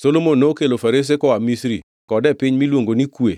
Solomon nokelo farese koa Misri kod e piny miluongo ni Kue,